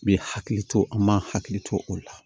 Bɛ hakili to an m'an hakili to o la